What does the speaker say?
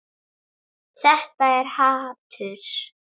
Þetta er hatur.